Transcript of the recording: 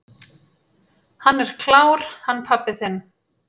"""Hann er klár, hann pabbi þinn."""